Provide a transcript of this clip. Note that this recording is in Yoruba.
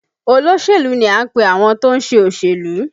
Olóṣèlú ni à ń pe àwọn tó ń ṣe òṣèlú